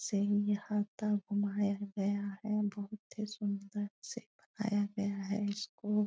ये हर तरफ घुमाया गया है बहुते सुन्दर से बनाया गया है इसको।